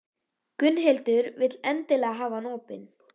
Gunnhildur vill endilega hafa hann opinn.